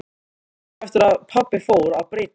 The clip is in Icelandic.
Löngu eftir að pabbi fór að breytast.